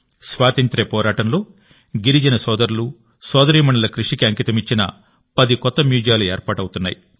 స్వాతంత్య్ర పోరాటంలో గిరిజన సోదరులు సోదరీమణుల కృషికి అంకితమిచ్చిన పది కొత్త మ్యూజియాలు ఏర్పాటవుతున్నాయి